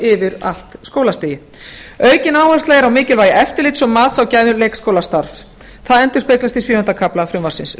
yfir allt skólastigið aukin áhersla er á mikilvæg eftirlits og mat á gæðum leikskólastarfs það endurspeglast í sjöunda kafla frumvarpsins